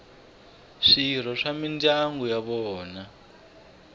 swirho swa mindyangu ya vona